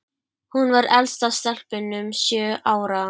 Hún var elst af stelpunum, sjö ára.